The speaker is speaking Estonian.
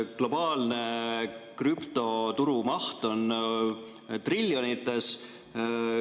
Globaalne krüptoturu maht on triljonites.